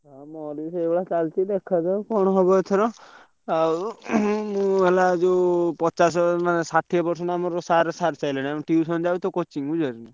ଚାଲିଛି ଦେଖା ଯାଉ କଣ ହବ ଏଥର ଆଉ ହେଲା ଯୋଉ ପଚାଶ ଷାଠିଏ percentage ଆମର ସାର ସାରିସାରିଲେଣି ଆମେ tuition ଯାଉଛୁ ତ coaching ବୁଝିପଢ଼ୁଛୁ ନାଁ।